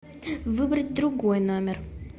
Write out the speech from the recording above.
выбрать другой номер